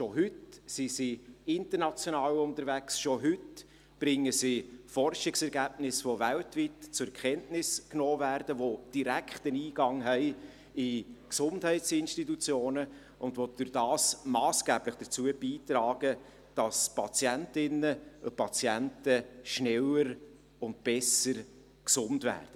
Schon heute sind sie international unterwegs, schon heute bringen sie Forschungsergebnisse, welche weltweit zur Kenntnis genommen werden, welche einen direkten Eingang haben zu Gesundheitsinstitutionen und welche dadurch massgeblich dazu beitragen, dass Patientinnen und Patienten schneller und besser gesund werden.